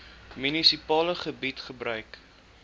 munisipale gebied gebruik